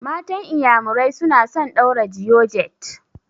Matan iƴamurai suna son ɗaura georgette.